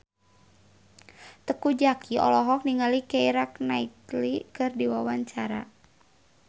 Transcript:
Teuku Zacky olohok ningali Keira Knightley keur diwawancara